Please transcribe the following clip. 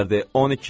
12?